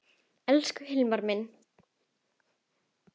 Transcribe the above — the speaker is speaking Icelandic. Elsku Hilmar minn.